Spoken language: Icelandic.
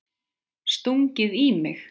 Stungið í mig?